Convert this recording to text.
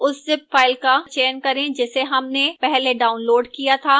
उस zip file का चयन करें जिसे हमने पहले downloaded किया था